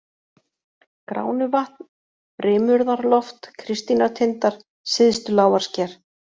Gránuvatn, Brimurðarloft, Kristínartindar, Syðstulágarsker